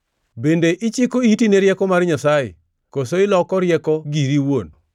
Bende ichiko iti ne rieko mar Nyasaye? Koso iloko rieko giri iwuon?